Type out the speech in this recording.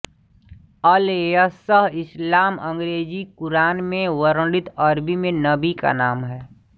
अल यसअ इस्लाम अंग्रेज़ी क़ुरआन में वर्णित अरबी में नबी का नाम है